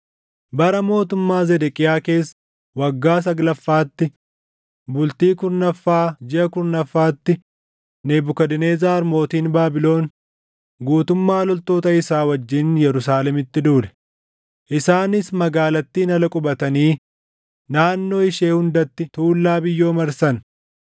Bara mootummaa Zedeqiyaa keessa waggaa saglaffaatti, bultii kurnaffaa jiʼa kurnaffaatti Nebukadnezar mootiin Baabilon guutummaa loltoota isaa wajjin Yerusaalemitti duule; isaanis magaalattiin ala qubatanii naannoo ishee hundatti tuullaa biyyoo marsan.